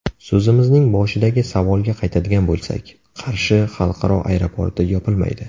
So‘zimizning boshidagi savolga qaytadigan bo‘lsak, Qarshi xalqaro aeroporti yopilmaydi.